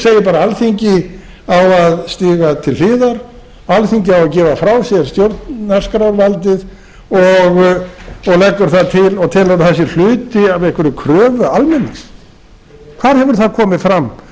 bara alþingi á að stíga til hliðar alþingi á að gefa frá sér stjórnarskrárvaldið og leggur til og telur að það sé hluti af einhverri kröfu almennings hvar hefur það komið fram